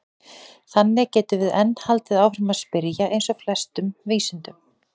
Þannig getum við enn haldið áfram að spyrja eins og í flestum vísindum!